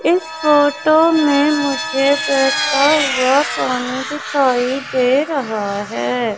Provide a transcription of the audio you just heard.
इस फोटो में मुझे बहता हुआ पानी दिखाई दे रहा है।